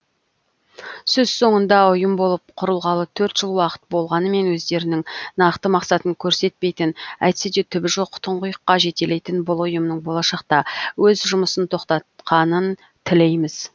сөз соңында ұйым болып құрылғалы төрт жыл уақыт болғанымен өздерінің нақты мақсатын көрсетпейтін әйтседе түбі жоқ тұңғұйыққа жетелейтін бұл ұйымның болашақта өз жұмысын тоқтатқанын тілейміз